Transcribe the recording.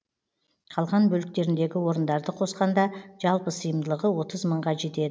қалған бөліктеріндегі орындарды қосқанда жалпы сыйымдылығы отыз мыңға жетеді